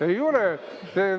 Ei ole!